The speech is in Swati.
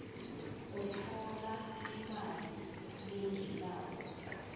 utfola imali lengenako